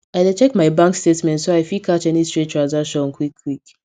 i dey check my bank statement so i fit catch any strange transactions quick quick